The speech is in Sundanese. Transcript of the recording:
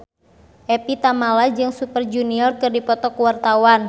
Evie Tamala jeung Super Junior keur dipoto ku wartawan